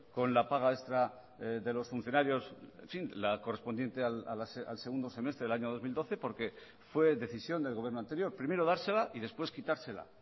con la paga extra de los funcionarios en fin la correspondiente al segundo semestre del año dos mil doce porque fue decisión del gobierno anterior primero dársela y después quitársela